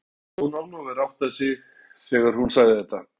Það var eins og Jón Ólafur áttaði sig þegar hún sagði þetta.